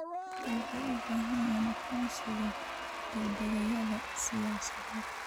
Dadku waxay u baahan yihiin aqoonsiga dhaqdhaqaaqyada siyaasadeed.